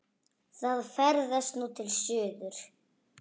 Það ferðast nú til suðurs.